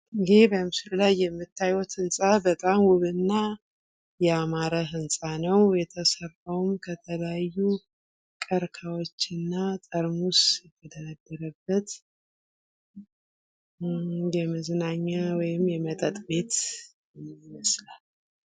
ይህ በምስሉ ላይ የምታዩት በጣም ውብ እና ያማረ ህንፃ ነው። የተሰራውም ከተለያዩ ቅርቅሃወችና ጠርሙስ የተደረደረበት የመዝናኛ ወይም የመጠጥ ቤት ይመስላል።